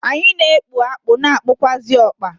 Anyi n'ekpu akpụ na ekpukwazị ọkpa.